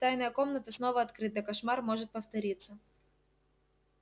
тайная комната снова открыта кошмар может повториться